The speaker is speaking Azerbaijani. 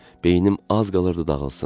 Beynim az qalırdı dağılsın.